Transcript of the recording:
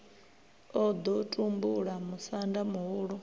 o ḓo tumbula musanda muhulu